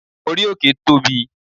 orí òkè Tobi